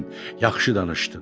Yaxşı danışdın.